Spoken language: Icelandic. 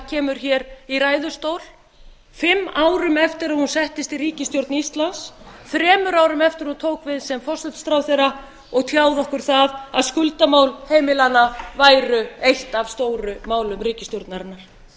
kemur hér í ræðustól fimm árum eftir að hún settist í ríkisstjórn íslands þremur árum eftir að hún tók við sem forsætisráðherra og tjáði okkur það að skuldamál heimilanna væru eitt af stóru málum ríkisstjórnarinnar þetta